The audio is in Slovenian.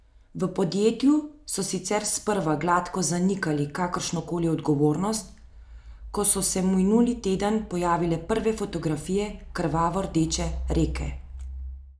V podjetju so sicer sprva gladko zanikali kakršnokoli odgovornost, ko so se minuli teden pojavile prve fotografije krvavo rdeče reke.